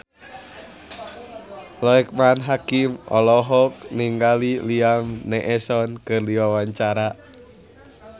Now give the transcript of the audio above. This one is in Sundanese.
Loekman Hakim olohok ningali Liam Neeson keur diwawancara